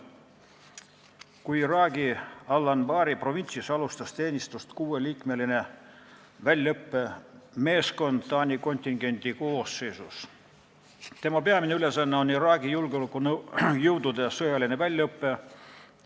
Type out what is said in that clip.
Iraagi Al-Anbari provintsis Taani kontingendi koosseisus alustas teenistust kuueliikmeline väljaõppemeeskond, kelle peamine ülesanne on Iraagi julgeolekujõudude sõjaline väljaõpe.